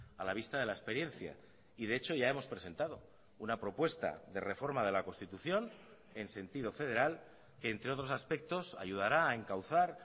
a la vista de la experiencia y de hecho ya hemos presentado una propuesta de reforma de la constitución en sentido federal que entre otros aspectos ayudará a encauzar